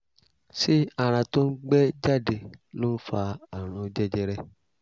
ṣé àrà tó ń gbẹ́ jáde ló ń fa àrùn jẹjẹrẹ?